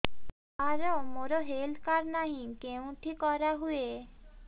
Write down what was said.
ସାର ମୋର health card ନାହିଁ କେଉଁଠି କରା ହୁଏ